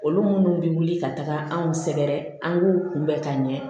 Olu minnu bɛ wuli ka taga anw sɛgɛrɛ an k'u kunbɛn ka ɲɛ